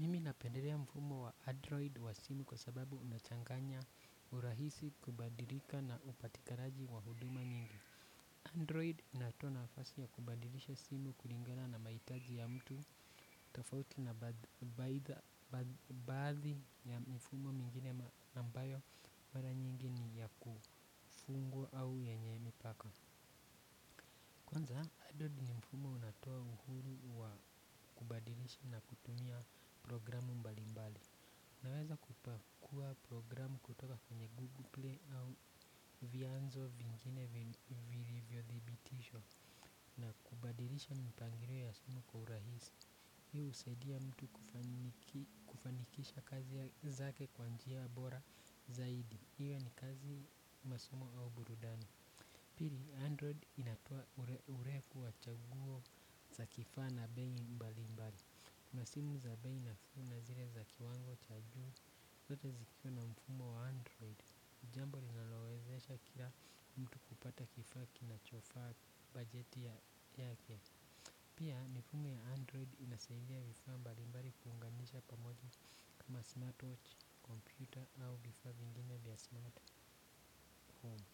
Mimi napendelea mfumo wa android wa simu kwa sababu unachanganya urahisi kubadilika na upatikalaji wa huduma nyingi. Android inatoa na afasi ya kubadilisha simu kulingana na mahitaji ya mtu tofauti na baidha baadhi ya mfumo mingine ambayo mara nyingi ni ya kufungwa au yenye mipaka. Kwanza Android ni mfumo unatoa uhuru wa kubadilisha na kutumia programu mbali mbali. Naweza kupakua programu kutoka kwenye Google Play au vianzo vingine vilivyo thibitishwa na kubadilisha mpangilio ya simu kwa urahisi. Hii husaidia mtu kufanikisha kazi zake kwa njia bora zaidi. Hiyo ni kazi masomo au burudani. Pili Android inatoa ureku wa chaguo za kifaa na bei mbali mbali. Kuna simu za bei nafuu na zile za kiwango cha juu. Zote zikiwe na mfumo wa Android. Jambo linalowezesha kila mtu kupata kifaa ki na chofaa budgeti yake. Pia mfumo ya Android inasaidia vifaa mbali mbali kuunganishwa pamoja kama smartwatch, kompyuta au vifaa vingine vya smart home.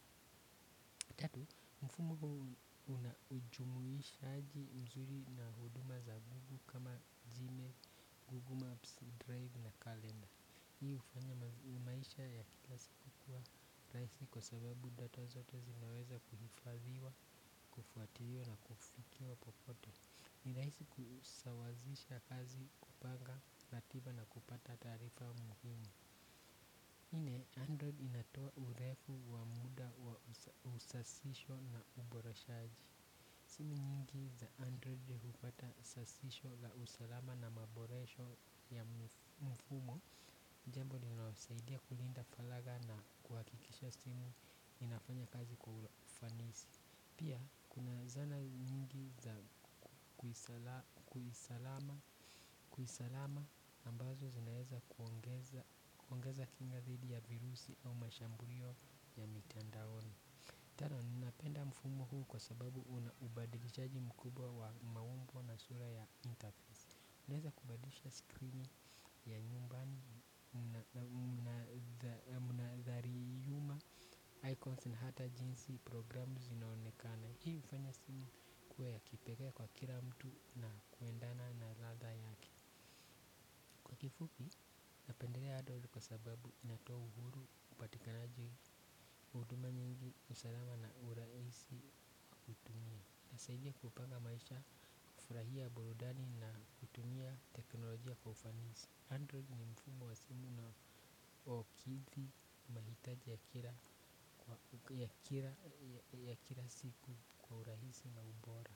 Tatu, mfumo huu unajumuishaji mzuri na huduma za gugu kama jime, google apps, drive na kalenda. Hii hufanya maisha ya kila siku kuwa rahisi kwa sababu data zote zinaweza kuhifadhiwa, kufuatiliwa na kufikiwa popote. Ni rahisi kusawazisha kazi kupanga, ratiba na kupata taarifa muhimu nne, android inatoa urefu wa muda wa usasishwa na uboreshaji. Simu nyingi za Android hufuata usasisho la usalama na maboresho ya mfumo. Jambo linasaidia kulinda faragha na kuhakikisha simu inafanya kazi kwa ufanisi. Pia kuna zana nyingi za kuisalama ambazo zinaweza kuongeza kinga dhidi ya virusi au mashambulio ya mitandaoni. Tano, ninapenda mfumo huu kwa sababu unaubadilishaji mkubwa wa maumbo na sura ya internet inaweeza kubadisha screening ya nyumba, munadhariyuma, icons na hata jinsi programu zinaonekana. Hii ufanya simu ikuwe ya kipekaya kwa kila mtu na kuendana na ladha yake kifupi napendelea android kwa sababu inatoa uhuru upatikanaji huduma nyingi usalama na urahisi wa kutumia hunisaidia kupanga maisha na kufurahia burudani na kutumia teknolojia kwa urahisi android mfumo wa simu na OKV mahitaji ya kila siku kwa urahisi na ubora.